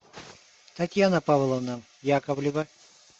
татьяна павловна яковлева